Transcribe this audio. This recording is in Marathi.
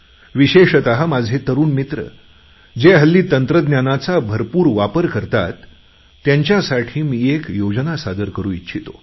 विशेषतः माझे तरुण मित्र जे हल्ली तंत्रज्ञानाचा भरपूर वापर करतात त्यांच्यासाठी मी एक योजना सादर करू इच्छितो